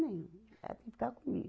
Nenhum. Ela tem que ficar comigo.